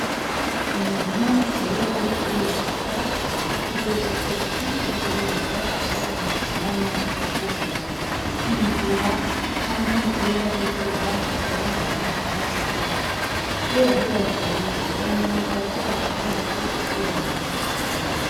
Umuntu iyo ariko arubaka ategerezwa kwibuka kwategerezwa gusiga umwanya wo kwugama h'imvura canke iyo hari izuba akaba ari ahantu hari agatutu. Iyo yahibagiye, uwo muntu tuba tubona atazi kwubaka.